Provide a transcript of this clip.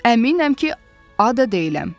Əminəm ki, Ada deyiləm.